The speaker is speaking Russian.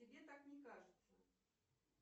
тебе так не кажется